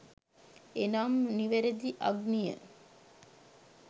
එනම් නිවැරදි අග්නිය